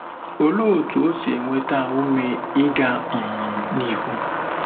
Olee otú o si enweta ume ịga um n'ihu?